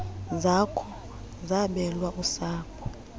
zakho zabelwa usapho